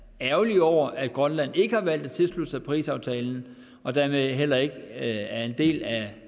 ærgerlig over at grønland ikke har valgt at tilslutte sig parisaftalen og dermed heller ikke er en del af